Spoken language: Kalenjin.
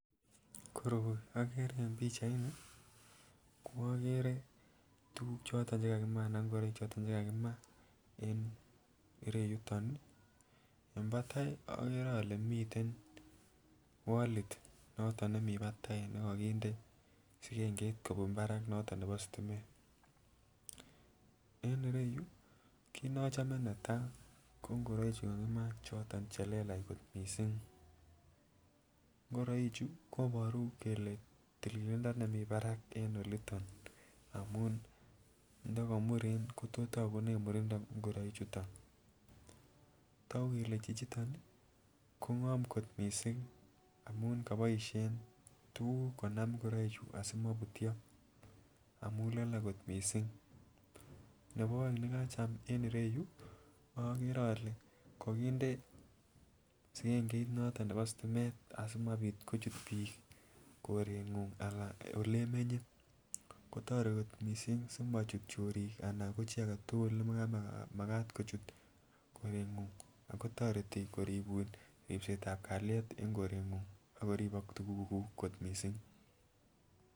Koroi okere en pichaini ko okere tukuk choton chekakima anan ingoroik choton chekakima en ireyutin nii, en patai okere ole miten wallit noton nemii patai nekokinde sikengeit kobun barak noton nebo sitimet. En ireyuu kit neochome netai ko ingoroik chuu kakiman choton chelelach kot missing, ngoroik chuu koboru kele tililindo nemii barak en oliton amun ndo komuren kotos tokunen murindo ngoroik chuton. Toku kele chichiton kongom kot missing amun kiboishen tukuk konam ngoroik chuu asimoiputyo amun lole kot missing. Nebo oeng nekacham en ireyuu okere ole kokinde sikengeit noton nebo sitimet asimabit kochut bik korenguny alan olemenye, kotoretin kot missing simochut chorik anan ana ko chii agetukul nekamamakat kochut korenguny ako toreti koribun ripsetab kalyet en korenguny ak koribok tukukuk kot missing.